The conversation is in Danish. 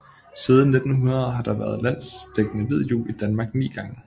Siden 1900 har der været landsdækkende hvid jul i Danmark ni gange